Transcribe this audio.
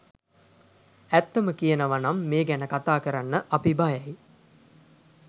ඇත්තම කියනවා නම් මේ ගැන කතා කරන්න අපි බයයි.